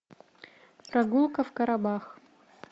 прогулка в карабах